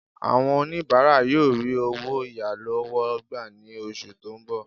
Àwọn oníbàárà yóò rí owó ìyálọ́wọ́ gbà ní oṣù tó ń bọ̀